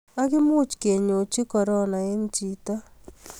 ak imuch kenyochi korona eng chito